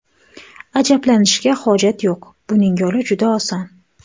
Ajablanishga hojat yo‘q, buning yo‘li juda oson.